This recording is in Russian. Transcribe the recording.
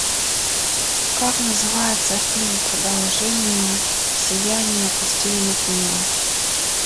как называется фильм продолжение сияние по стивену кингу